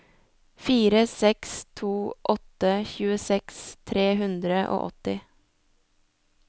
fire seks to åtte tjueseks tre hundre og åtti